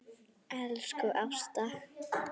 Elsku Ásta.